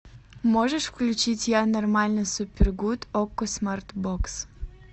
можешь включить я нормально супер гуд окко смарт бокс